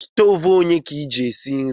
Stove onye ka iji esi nri?